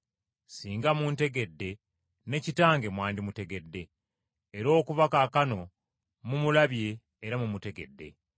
Singa muntegedde ne Kitange mwandimutegedde. Era okuva kaakano mumulabye era mumutegedde.”